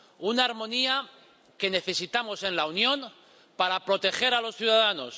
Una armonía que necesitamos en la Unión para proteger a los ciudadanos